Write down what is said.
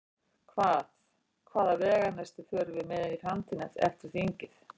Hvað, hvaða veganesti förum við með inn í framtíðina eftir, eftir þingið?